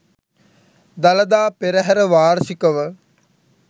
Dalada Perahera වාර්ෂිකව